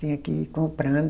Tinha que ir comprando.